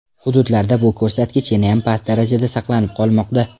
Hududlarda bu ko‘rsatkich yanayam past darajada saqlanib qolmoqda.